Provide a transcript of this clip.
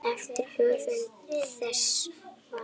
eftir höfund þessa svars.